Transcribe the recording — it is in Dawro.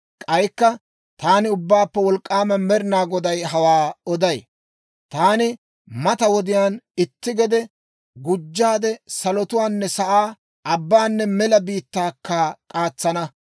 « ‹K'aykka taani Ubbaappe Wolk'k'aama Med'inaa Goday hawaa oday. Taani mata wodiyaan itti gede gujjaade, salotuwaanne sa'aa, abbaanne mela biittaakka k'aatsana.